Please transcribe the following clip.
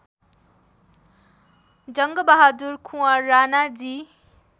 Jangbahadur Kunwar Ranaji